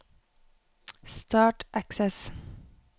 Start Access